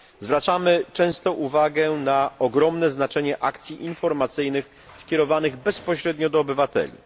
Zwracamy często uwagę na ogromne znaczenie akcji informacyjnych skierowanych bezpośrednio do obywateli.